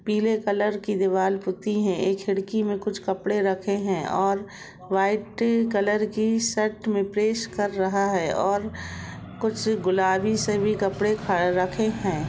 पीले कलर की दीवाल पुती है ऐ खिड़की में कुछ कपड़े रखे है और वाइट कलर की शर्ट में प्रेस कर रहा है और कुछ गुलाबी से भी कपड़े खर-रखे है।